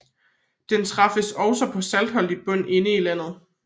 Den træffes også på saltholdig bund inde i landet